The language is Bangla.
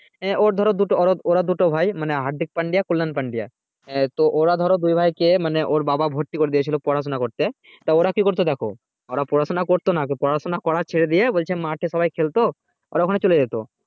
এ ওর ধরো ওরা দুটো ভাই মানে হার্দিক পাণ্ডে, কোলেন পাণ্ডে এ তো ওরা ধরো দুই ভাই কে মানে ওর বাবা ভর্তি করে দিয়েছিলো পড়া সোনা করতে তা ওরা কি করতো দেখো ওরা পড়াশোনা করতো না পড়াশোনা করা ছেড়ে দিয়ে বলছে মাঠে সবাই খেলতো ওরা ওখানে চলে যেতো